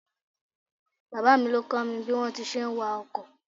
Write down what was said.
Bàbá mi ló kọ́ mi bí wọn ti ń ṣe ń wa ọkọ̀.